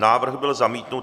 Návrh byl zamítnut.